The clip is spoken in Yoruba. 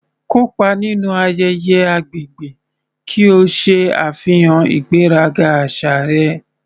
Kópa nínú ayẹyẹ agbègbè ki o ṣe àfihàn ìgbéraga àṣà rẹ.